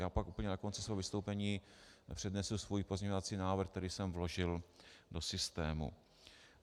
Já pak úplně na konci svého vystoupení přednesu svůj pozměňovací návrh, který jsem vložil do systému.